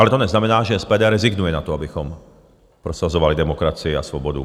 Ale to neznamená, že SPD rezignuje na to, abychom prosazovali demokracii a svobodu.